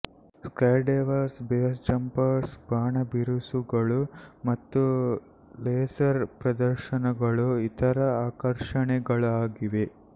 skydivers base jumpers ಬಾಣಬಿರುಸುಗಳು ಮತ್ತು laser ಪ್ರದರ್ಶನಗಳು ಇತರೆ ಆಕರ್ಷಣೆಗಳಾಗಿವೆ